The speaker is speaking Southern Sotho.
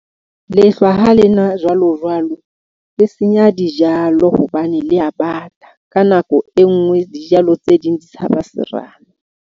Lehlwa ha le na jwalo jwalo le senya dijalo hobane le a bata. Ka nako e nngwe dijalo tse ding di tshaba serame.